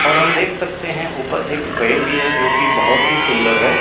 और हम देख सकते हैं ऊपर एक फ्रेम भी है जो कि बहुत ही सुंदर है।